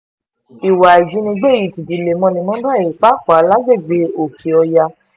ìwà ìjínigbé yìí ti di lemọ́lemọ́ báyìí pàápàá lágbègbè òkè-ọ̀yá